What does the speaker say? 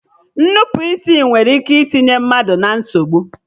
Nnupụisi nwere ike itinye mmadụ na nsogbu